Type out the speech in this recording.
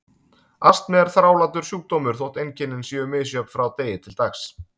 Astmi er þrálátur sjúkdómur þótt einkennin séu misjöfn frá degi til dags.